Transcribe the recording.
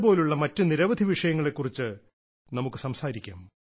ഇത് പോലുള്ള മറ്റ് നിരവധി വിഷയങ്ങളെക്കുറിച്ച് നമുക്ക് സംസാരിക്കാം